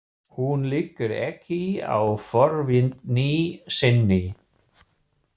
Hún liggur ekki á forvitni sinni.